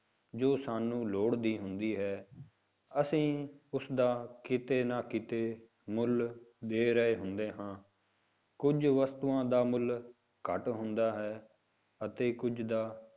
ਜੋ ਸਾਨੂੰ ਲੋੜ ਦੀ ਹੁੰਦੀ ਹੈ ਅਸੀਂ ਉਸਦਾ ਕਿਤੇ ਨਾ ਕਿਤੇ ਮੁੱਲ ਦੇ ਰਹੇ ਹੁੰਦੇ ਹਾਂ, ਕੁੱਝ ਵਸਤੂਆਂ ਦਾ ਮੁੱਲ ਘੱਟ ਹੁੰਦਾ ਹੈ ਅਤੇ ਕੁੱਝ ਦਾ